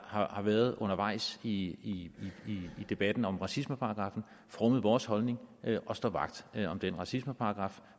har været undervejs i debatten om racismeparagraffen formet vores holdning og står vagt om den racismeparagraf